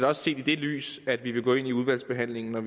også i det lys at vi vil gå ind i udvalgsbehandlingen